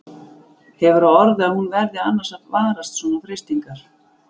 Hefur á orði að hún verði annars að varast svona freistingar.